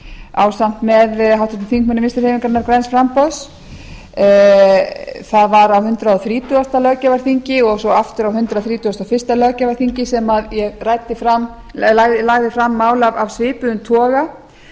ásamt með háttvirtum þingmönnum vinstri hreyfingarinnar græns framboð það var á hundrað þrítugasta löggjafarþingi og svo aftur á hundrað þrítugasta og fyrsta löggjafarþingi sem ég lagði fram mál af svipuðum toga